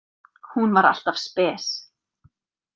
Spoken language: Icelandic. Hún var alltaf spes.